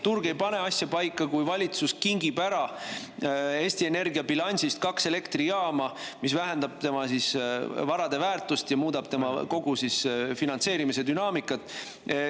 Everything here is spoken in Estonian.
Turg ei pane asja paika, kui valitsus kingib ära Eesti Energia bilansist kaks elektrijaama, mis vähendab tema varade väärtust ja muudab kogu tema finantseerimise dünaamikat.